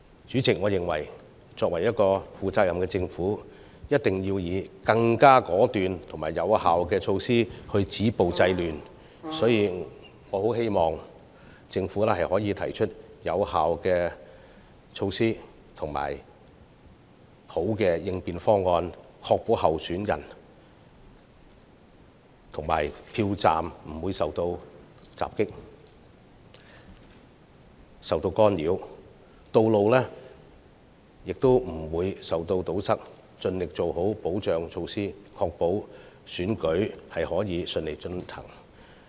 主席，我認為，負責任的政府必須以更果斷及有效的措施止暴制亂，所以我希望政府能提出有效措施及更好的應變方案，確保參選人及票站不會受到襲擊和干擾，道路亦不會被堵塞，並盡力做好保障措施，確保選舉能順利進行。